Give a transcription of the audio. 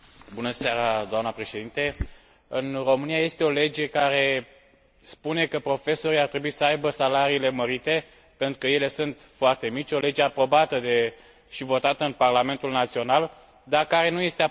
În România este o lege care spune că profesorii ar trebui să aibă salariile mărite, pentru că ele sunt foarte mici, o lege aprobată și votată în Parlamentul național, dar care nu este aplicată absolut deloc.